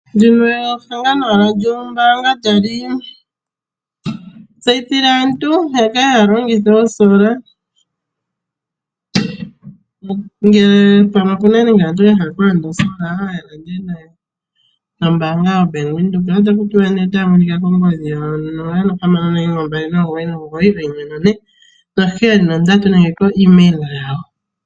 Ehangano lyombaanga tali tseyithile aantu ya kale haya longitha oosolar, ngele pamwe okuna nande aantu ya hala okulanda oosolar nombaanga yoBank Windhoek. Otaku tiwa nee otaya monika kongodhi 0612991473 nenge ko email yawo.